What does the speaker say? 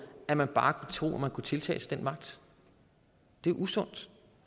at man bare troede at man kunne tiltage sig den ret det er usundt